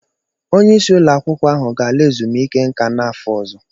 Onyeisi ụlọakwụkwọ ahụ ga-ala ezumike nká n'afọ ọzọ.